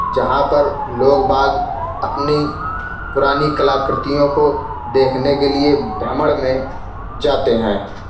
जहाँ पर लोग बाग़ अपनी पुरानी कला कृतियों को देखने के लिए भ्रमण में जाते है |